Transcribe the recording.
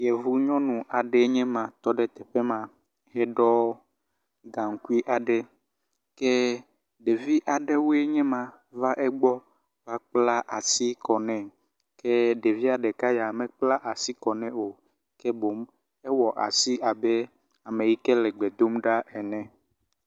yovu nyɔnu aɖee ma tɔɖe teƒema eɖɔ gaŋkui aɖe ke ɖevi aɖewoe nye va egbɔ kpla asi kɔ nɛ ke ɖevia ɖeka ya mekpla asi kɔnɛ o ke boŋu ewɔ aasi abe ameyike lɛ gbedomɖa ene